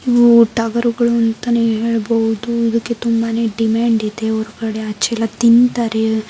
ಹೂ ಟಗರುಗಳು ಅಂತಾನೆ ಹೇಳ್ಬೋದು ಇದುಕ್ಕೆ ತುಂಬಾನೇ ಡಿಮ್ಯಾಂಡ್ ಇದೆ ಒರ್ಗಡೆ ಆಚೆ ಎಲ್ಲ ತಿನ್ನತಾರೆ --